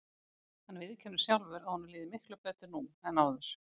Hann viðurkennir sjálfur að honum líði miklu betur nú en áður.